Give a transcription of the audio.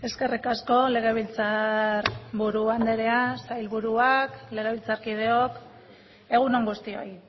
eskerrik asko legebiltzarburu andrea sailburuak legebiltzarkideok egun on guztioi